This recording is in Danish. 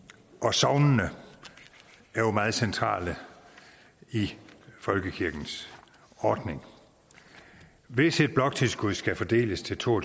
sognene er jo meget centrale i folkekirkens ordning hvis et bloktilskud skal fordeles til to